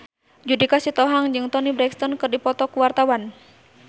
Judika Sitohang jeung Toni Brexton keur dipoto ku wartawan